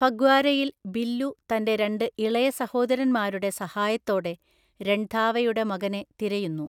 ഫഗ്വാരയിൽ ബില്ലു തന്റെ രണ്ട് ഇളയ സഹോദരന്മാരുടെ സഹായത്തോടെ രൺധാവയുടെ മകനെ തിരയുന്നു.